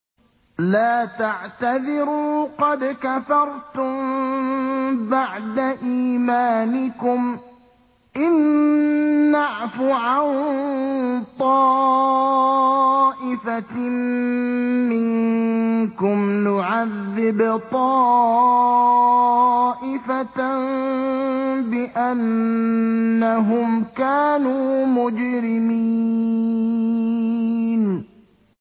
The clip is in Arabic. لَا تَعْتَذِرُوا قَدْ كَفَرْتُم بَعْدَ إِيمَانِكُمْ ۚ إِن نَّعْفُ عَن طَائِفَةٍ مِّنكُمْ نُعَذِّبْ طَائِفَةً بِأَنَّهُمْ كَانُوا مُجْرِمِينَ